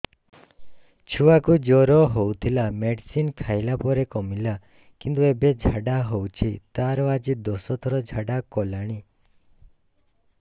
ଛୁଆ କୁ ଜର ହଉଥିଲା ମେଡିସିନ ଖାଇଲା ପରେ କମିଲା କିନ୍ତୁ ଏବେ ଝାଡା ହଉଚି ତାର ଆଜି ଦଶ ଥର ଝାଡା କଲାଣି